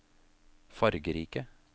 fargerike